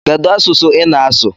Kedu asụsụ ị na-asụ?